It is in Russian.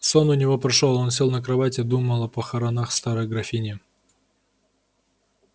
сон у него прошёл он сел на кровать и думал о похоронах старой графини